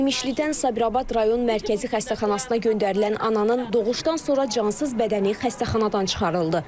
İmişlidən Sabirabad rayon mərkəzi xəstəxanasına göndərilən ananın doğuşdan sonra cansız bədəni xəstəxanadan çıxarıldı.